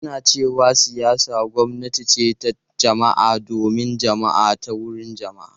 Ana cewa siyasa gwamnati ce ta jama’a, don jama’a da ta wurin jama’a.